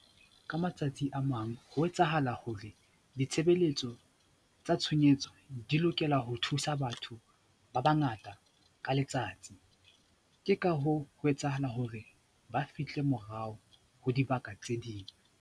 Ka matsatsi a mang, ho etsahala hore ditshebelletso tsa tshohanyetso di lokela ho thusa batho ba bangata ka letsatsi. Ke ka hoo ho etsahala hore ba fihle morao ho dibaka tse ding.